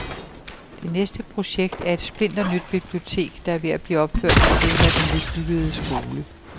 Det næste projekt er et splinternyt bibliotek, der er ved at blive opført ved siden af den nybyggede skole.